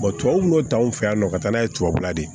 tubabu n'o ta anw fɛ yan nɔ ka taa n'a ye tubabula de